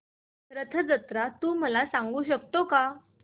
रथ जत्रा तू मला सांगू शकतो का